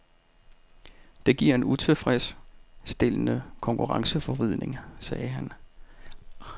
Det giver en utilfredsstillende konkurrenceforvridning, siger han.